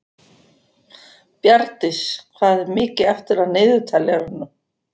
Bjarndís, hvað er mikið eftir af niðurteljaranum?